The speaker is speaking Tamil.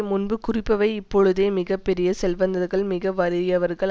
முன்பு குறிப்பவை இப்பொழுதோ மிக பெரிய செல்வந்தர்கள் மிக வறியவர்கள்